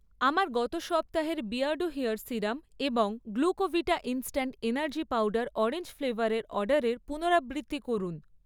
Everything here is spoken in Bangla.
আমার গত সপ্তাহের বিয়ার্ডো হেয়ার সিরাম এবং Glucovita instant energy powder orange ফ্লেভা্রের অর্ডারের পুনরাবৃত্তি করুন।